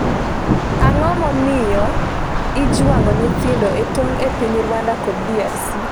Ang’o momiyo ijwang'o nyithindo e tong e piny Rwanda kod DRC?